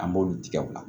An b'olu tigɛ o la